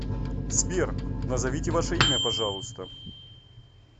сбер назовите ваше имя пожалуйста